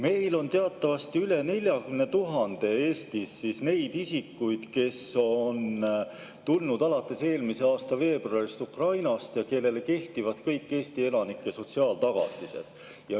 Meil on Eestis teatavasti üle 40 000 neid isikuid, kes on alates eelmise aasta veebruarist tulnud siia Ukrainast ja kelle kohta kehtivad kõik Eesti elanike sotsiaaltagatised.